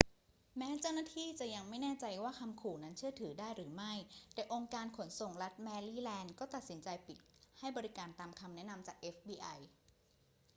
แม้เจ้าหน้าที่จะยังไม่แน่ใจว่าคำขู่นั้นเชื่อถือได้หรือไม่ แต่องค์การขนส่งรัฐแมรี่แลนด์ก็ตัดสินใจปิดให้บริการตามคำแนะนำจาก fbi